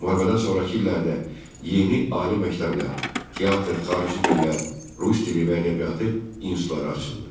Müharibədən sonrakı illərdə yeni ali məktəblər, teatr, xarici dillər, rus dili və ədəbiyyatı institutları açıldı.